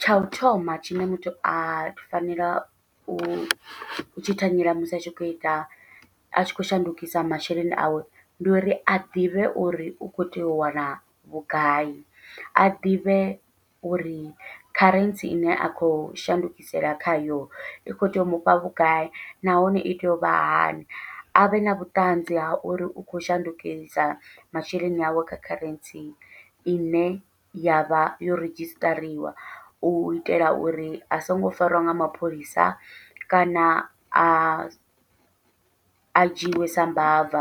Tsha u thoma tshine muthu a fanela u tshi thanyela musi a tshi khou ita a tshi khou shandukisa masheleni awe, ndi uri a ḓivhe uri u kho tea u wana vhugai a ḓivhe uri kharentsi ine a khou shandukisela khayo i kho tea u mufha vhugai, nahone i tea u vha hani avhe na vhuṱanzi ha uri u khou shandukisa masheleni awe kha kharentsi ine yavha yo redzhisiṱariwa u itela uri a songo farwa nga mapholisa, kana a a dzhiiwe sa mbava